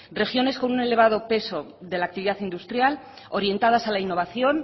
regiones con un elevado peso de la actividad industrial orientadas a la innovación